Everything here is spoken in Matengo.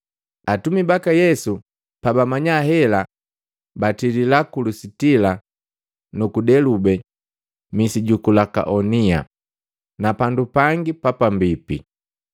Atumi baka Yesu pabamanya hela, batilila ku Lusitila nuku Delube, misi juku Lukaonia, na pandu yengi yapambipi,